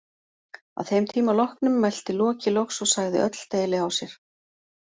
Að þeim tíma loknum mælti Loki loks og sagði öll deili á sér.